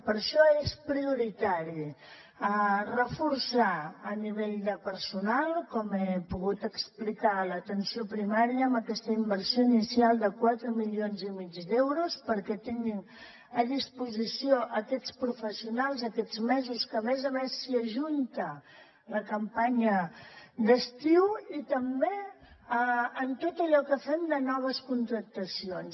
per això és prioritari reforçar a nivell de personal com he pogut explicar l’atenció primària amb aquesta inversió inicial de quatre milions i mig d’euros perquè tinguin a disposició aquests professionals aquests mesos que a més a més s’hi ajunta la campanya d’estiu i també en tot allò que fem de noves contractacions